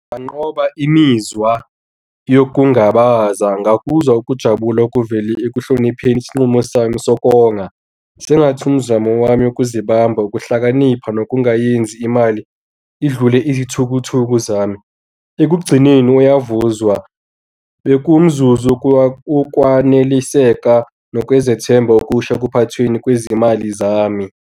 Nginganqoba imizwa yokungabaza ngakuzwa ukujabula okuvele ekuhlonipheni isinqumo sami sokonga sengathi umzamo wami wokuzibamba ukuhlakanipha nokungayenzi imali idlule iy'thukuthuku zami ekugcineni uyavuzwa. Bekuwumzuzu wokwaneliseka nokwezethemba okusha ekuphathweni kwezimali zami.